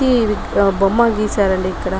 ఈ బొమ్మ గీశారు అండి ఇక్కడ.